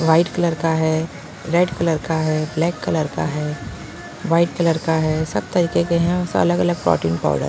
white colour का है red colour का है ब्लैक कलर का है वाइट कलर का है सब तरीके के हैं अलग-अलग प्रोटीन पाउडर --